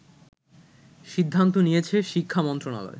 সিদ্ধান্ত নিয়েছে শিক্ষা মন্ত্রণালয়